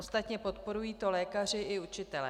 Ostatně podporují to lékaři i učitelé.